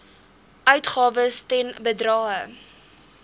uitgawes ten bedrae